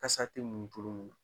Fasati mun tulu m